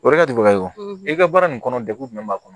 O yɔrɔ ka jugu ka ɲi i ka baara nin kɔnɔ degun jumɛn b'a kɔnɔ